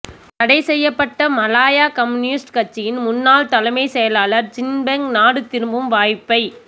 தடை செய்யப்பட்ட Malaya communist கட்சியின் முன்னாள் தலைமைச் செயலாளர் சின் பெங் நாடு திரும்பும் வாய்ப்பை